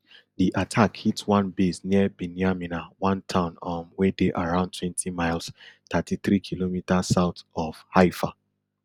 di attack hit one base near binyamina one town um wey dey around twenty miles thirty-threekm south of haifa